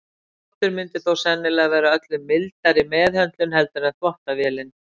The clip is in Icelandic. handþvottur myndi þó sennilega vera öllu mildari meðhöndlun heldur en þvottavélin